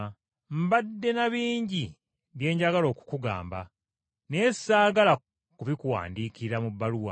Mbadde na bingi eby’okukugamba, kyokka saagala kubikuwandiikira mu bbaluwa,